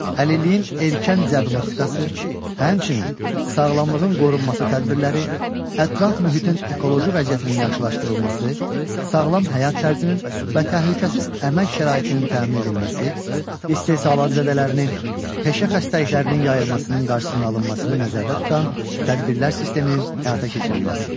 Əlilliyin erkən diaqnostikası, həmçinin sağlamlığın qorunması tədbirləri, ətraf mühitin ekoloji vəziyyətinin yaxşılaşdırılması, sağlam həyat tərzinin və təhlükəsiz əmək şəraitinin təmin edilməsi, istehsalat zədələrinin, peşə xəstəliklərinin yayılmasının qarşısının alınmasını nəzərdə tutan tədbirlər sisteminin həyata keçirilməsi.